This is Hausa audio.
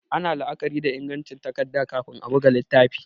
Ana la'akari da ingancin takarda kafin a buga littafi